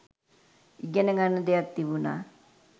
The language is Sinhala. ඉගෙන ගන්න දෙයක් තිබුණා